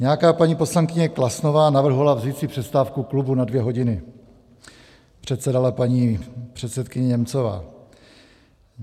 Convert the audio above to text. Nějaká paní poslankyně Klasnová navrhovala vzít si přestávku klubu na dvě hodiny, předsedala paní předsedkyně Němcová.